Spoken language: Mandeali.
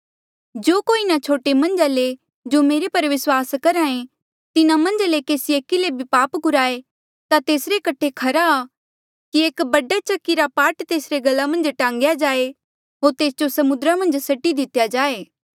जो कोई इन्हा छोटे मन्झा ले जो मेरे पर विस्वास करहा ऐें तिन्हा मन्झ केसी एकी ले भी पाप कुराये ता तेसरे कठे खरा आ कि एक बड़ा चक्की रा पाट तेसरे गला मन्झ टांग्या जाए होर तेस जो समुद्रा मन्झ सट्टी दितेया जाए